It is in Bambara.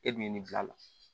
E dun ye nin bila a la